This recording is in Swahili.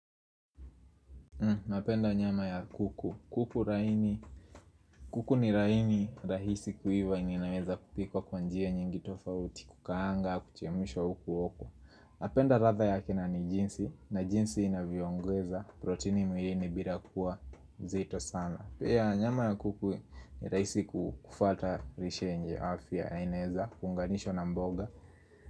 Napenda nyama ya kuku. Kuku ni laini rahisi kuiva na inaweza kupikwa kwa njia nyingi tofauti, kukaanga, kuchemshwa huku huku. Napenda ladha yake na ni jinsi na jinsi inavyoongeza. Proteini mwilini bila kuwa zito sana. Pia nyama ya kuku ni rahisi kufuata lishe yenye afya na inaeza, kuunganisha na mboga.